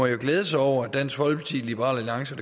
jo glæde sig over at dansk folkeparti liberal alliance